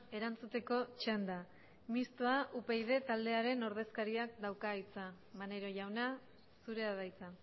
erantzuteko txanda mistoa upyd taldearen ordezkariak dauka hitza maneiro jauna zurea da hitza